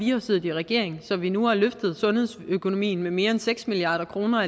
jo siddet i regering så vi nu har løftet alene sundhedsøkonomien med mere end seks milliard kroner